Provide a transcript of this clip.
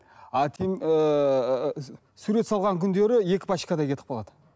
а ііі сурет салған күндері екі пачкадай кетіп қалады